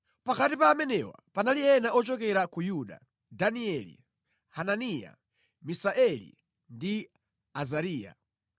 Pakati pa amenewa panali ena ochokera ku Yuda: Danieli, Hananiya, Misaeli ndi Azariya.